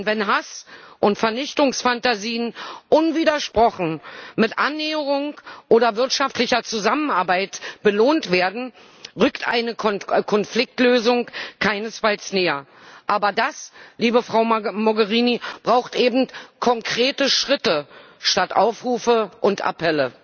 Denn wenn Hass und Vernichtungsphantasien unwidersprochen mit Annäherung oder wirtschaftlicher Zusammenarbeit belohnt werden, rückt eine Konfliktlösung keinesfalls näher. Aber das, liebe Frau Mogherini, braucht eben konkrete Schritte statt Aufrufe und Appelle.